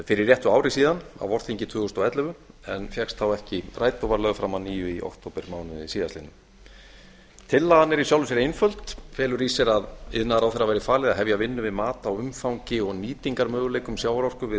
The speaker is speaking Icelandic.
fyrir réttu ári síðan á vorþingi tvö þúsund og ellefu en fékkst þá ekki rædd og var lögð fram að nýju í októbermánuði síðastliðnum tillaga er í sjálfu sér einföld felur í sér að iðnaðarráðherra verði falið að hefja vinnu við mat á umfangi og nýtingarmöguleikum sjávarorku við